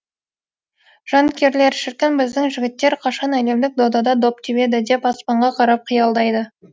жанкүйерлер шіркін біздің жігіттер қашан әлемдік додада доп тебеді деп аспанға қарап қиялдайды